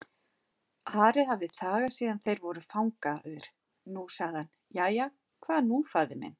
Ari hafði þagað síðan þeir voru fangaðir, nú sagði hann:-Jæja, hvað nú faðir minn?